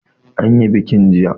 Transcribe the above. An yi bikin jiya.